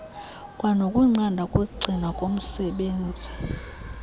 kwanokunqanda ukugcinwa komsebenzi